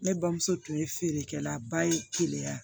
Ne bamuso tun ye feerekɛlaba ye keleya